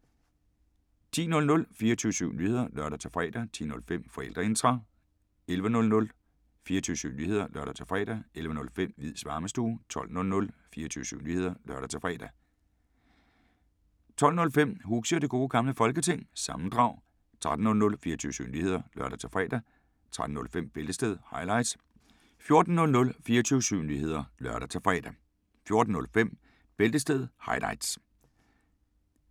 10:00: 24syv Nyheder (lør-fre) 10:05: Forældreintra 11:00: 24syv Nyheder (lør-fre) 11:05: Hviids Varmestue 12:00: 24syv Nyheder (lør-fre) 12:05: Huxi Og Det Gode Gamle Folketing- sammendrag 13:00: 24syv Nyheder (lør-fre) 13:05: Bæltestedet – highlights 14:00: 24syv Nyheder (lør-fre) 14:05: Bæltestedet – highlights